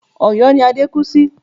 Ọ̀̀yọ́ ni Adé kú sí